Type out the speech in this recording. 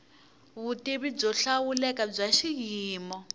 vutivi byo hlawuleka bya xiyimo